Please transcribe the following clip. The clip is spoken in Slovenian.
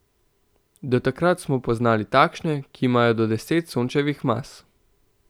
Do takrat smo poznali takšne, ki imajo do deset Sončevih mas.